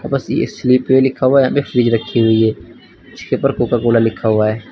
Slipway लिखा हुआ है यहां पे फ्रिज रखी हुई है जिसके पर कोका कोला लिखा हुआ है।